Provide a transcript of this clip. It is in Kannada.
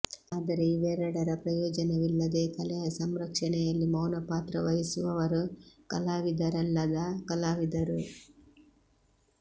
ಆದರೆ ಇವೆರಡರ ಪ್ರಯೋಜನವಿಲ್ಲದೆ ಕಲೆಯ ಸಂರಕ್ಷಣೆಯಲ್ಲಿ ಮೌನಪಾತ್ರ ವಹಿಸುವವರು ಕಲಾವಿದರಲ್ಲದ ಕಲಾವಿದರು